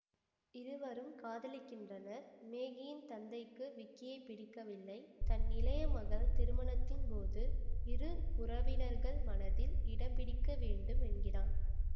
இருவரும் காதலிக்கின்றனர் மேகியின் தந்தைக்கு விக்கியை பிடிக்கவில்லை தன் இளைய மகள் திருமணத்தின்போது இரு உறவினர்கள் மனதில் இடம்பிடிக்க வேண்டும் என்கிறான்